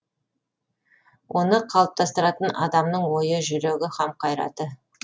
оны қалыптастыратын адамның ойы жүрегі һәм қайраты